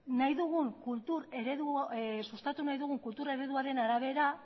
sustatu nahi dugun kultur ereduaren arabera